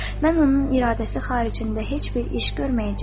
“Mən onun iradəsi xaricində heç bir iş görməyəcəyəm.”